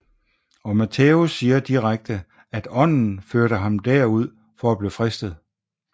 Og Matthæus siger direkte at Ånden førte ham der ud for at blive fristet